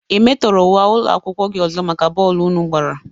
Ị metọrọ uwe ụlọakwụkwọ gị ọzọ maka bọọlụ unu gbara?